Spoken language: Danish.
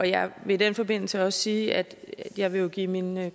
jeg vil i den forbindelse også sige at jeg vil give mine